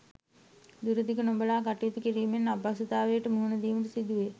දුර දිග නොබලා කටයුතු කිරීමෙන් අපහසුතාවලට මුහුණ දීමට සිදුවේ.